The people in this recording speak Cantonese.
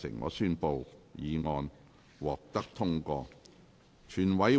我宣布議案獲得通過。